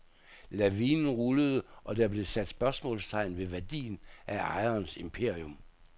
Lavinen rullede, og der blev sat spørgsmålstegn ved værdien af ejerens imperium.